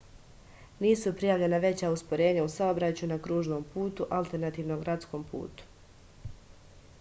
nisu prijavljena veća usporenja u saobraćaju na kružnom putu alternativnom gradskom putu